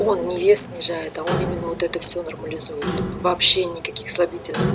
он не вес снижает а он именно вот это все нормализует вообще никаких слабительных